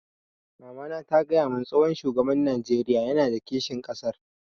Mamana ta gaya mun tsohon shugaban Najeriya yana da kishin ƙasar